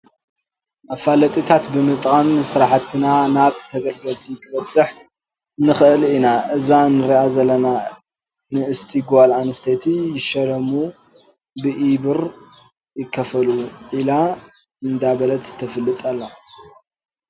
መፈላጢታት ብምጥቃም ስራሕትና ናብ ተገልገልቲ ክነብፅሕ ንክእል ኢና እዛ እንሪኣ ዘለና ንእስቲ ጓል ኣነስተይቲ ይሸለሙ ብኢብር ይክፈሉ ኢላ እንዳበለት ተፋልጥ ኣላ።